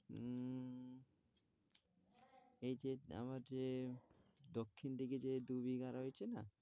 এই যে আমার যে দক্ষিণ দিকে যে দু-বিঘা রয়েছে না।